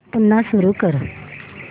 पुन्हा सुरू कर